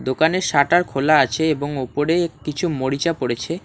দোকানের সাটার খোলা আছে এবং ওপরে কিছু মরিচা পড়েছে।